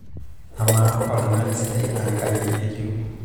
amaa oltung'ani sidai naa kaji etiu